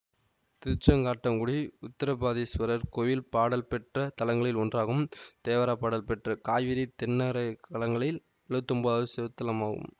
திருச்செங்காட்டங்குடி உத்தராபதீசுவரர் கோயில் பாடல் பெற்ற தலங்களில் ஒன்றாகும் தேவாரப்பாடல் பெற்ற காவிரி தென்கரை தலங்களில் எழுவத்தி ஒம்பதாவது சிவத்தலமாகும்